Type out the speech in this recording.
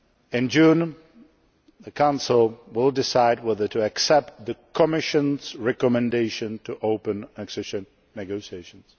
In June the Council will decide whether to accept the Commission's recommendation to open accession negotiations.